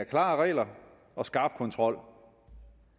klare regler og skarp kontrol